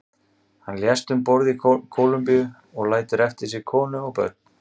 Hann lést um borð í Kólumbíu og lætur eftir sig konu og börn.